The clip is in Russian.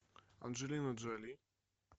анджелина джоли